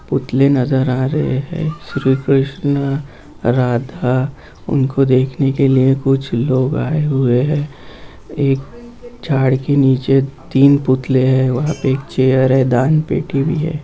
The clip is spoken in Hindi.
पूतले नजर आ रहें हैं श्री कृष्ण राधा उनको देखने के लिए कुछ लोग आए हुए हैं एक झाड़ के नीचे तीन पुतले हैं वहां पर चेयर है दान पेटी भी है।